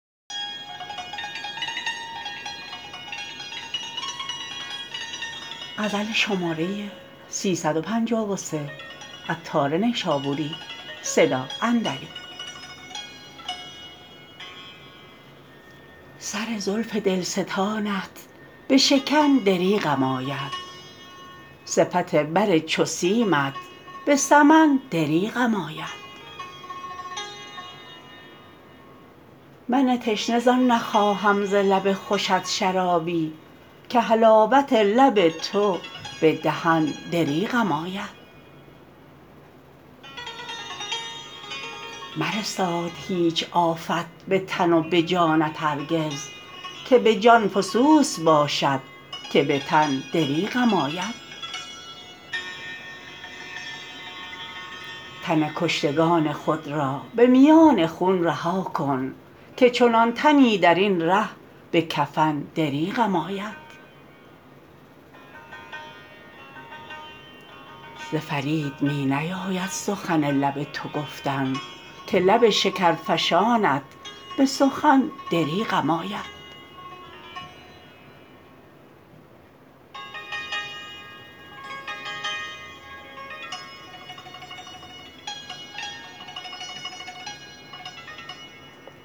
سر زلف دلستانت به شکن دریغم آید صفت بر چو سیمت به سمن دریغم آید من تشنه زان نخواهم ز لب خوشت شرابی که حلاوت لب تو به دهن دریغم آید مرساد هیچ آفت به تن و به جانت هرگز که به جان فسوس باشد که به تن دریغم آید تن کشتگان خود را به میان خون رها کن که چنان تنی درین ره به کفن دریغم آید ز فرید می نیاید سخن لب تو گفتن که لب شکر فشانت به سخن دریغم آید